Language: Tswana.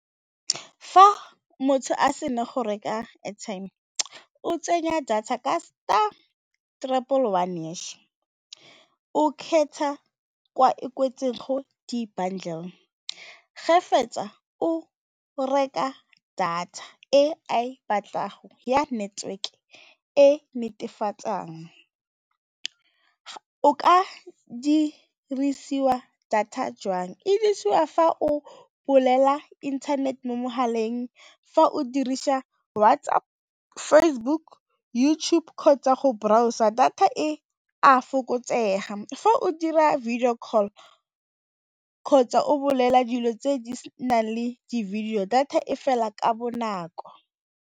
Fa motho a sena go reka airtime, o tsenya data ka star tripple one hash, o kgetha kwa e kwetseng go di-bundle, ge fetsa o o reka data e a e batlago ya network e o ka dirisiwa data jwang? E dirisiwa fa o bolela internet mo mogaleng, fa o dirisa WhatsApp, Facebook, YouTube kgotsa go browser, data e a fokotsega fa o dira video call kgotsa o bolelela dilo tse di nang le di-video data e fela ka bonako.